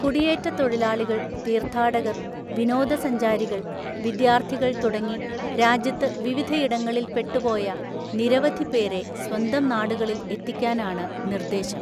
കുടിയേറ്റതൊഴിലാളികള്‍, തീര്ത്ഥാടകര്‍, വിനോദസഞ്ചാരികള്‍, വിദ്യാര്ത്ഥികള്‍ തുടങ്ങി രാജ്യത്ത് വിവിധയിടങ്ങളില്‍ പെട്ടുപോയ നിരവധി പേരെ സ്വന്തം നാടുകളില്‍ എത്തിക്കാനാണ് നിര്ദേശം.